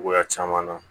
Cogoya caman na